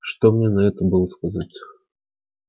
что мне на это было сказать